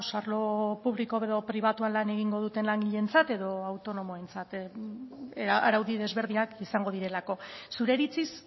arlo publiko edo pribatuan lan egingo duten langileentzat edo autonomoentzat araudi desberdinak izango direlako zure iritziz